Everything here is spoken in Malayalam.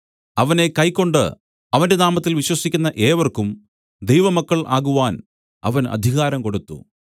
അവനെ കൈക്കൊണ്ട് അവന്റെ നാമത്തിൽ വിശ്വസിക്കുന്ന ഏവർക്കും ദൈവമക്കൾ ആകുവാൻ അവൻ അധികാരം കൊടുത്തു